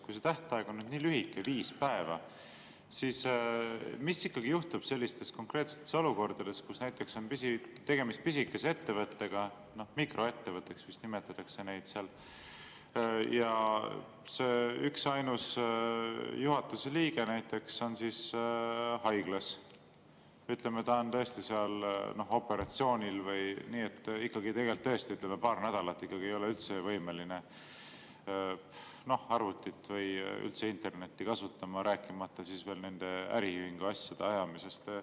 Kui see tähtaeg on nii lühike, viis päeva, siis mis ikkagi juhtub sellistes konkreetsetes olukordades, kui näiteks on tegemist pisikese ettevõttetega, seda nimetatakse vist mikroettevõtteks, ja see üksainus juhatuse liige näiteks on haiglas, ütleme, ta on operatsioonil, nii et tõesti paar nädalat ta ei ole võimeline arvutit või üldse internetti kasutama, rääkimata siis veel äriühingu asjade ajamisest.